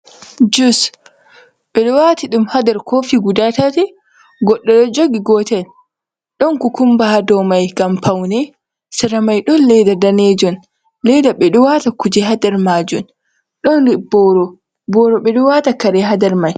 Juus ɓe ɗo wati ɗum ha ndar kofi guda tati godɗo do jogi gotel don ku kumba ha domai ngam paune sare mai don leda danejum leda be ɗo wata kuje ha ndar majum don boro boro ɓe ɗo wata kare ha ndar mai.